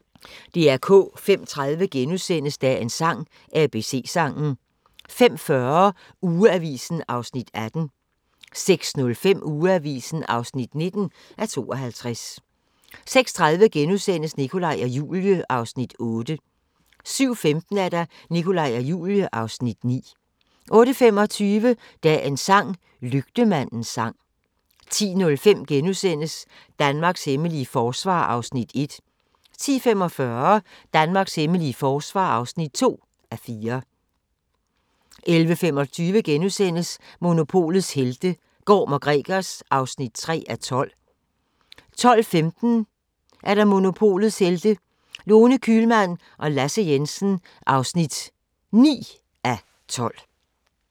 05:30: Dagens sang: ABC-sangen * 05:40: Ugeavisen (18:52) 06:05: Ugeavisen (19:52) 06:30: Nikolaj og Julie (Afs. 8)* 07:15: Nikolaj og Julie (Afs. 9) 08:25: Dagens sang: Lygtemandens sang 10:05: Danmarks hemmelige forsvar (1:4)* 10:45: Danmarks hemmelige forsvar (2:4) 11:25: Monopolets helte - Gorm & Gregers (3:12)* 12:15: Monopolets Helte – Lone Kühlmann og Lasse Jensen (9:12)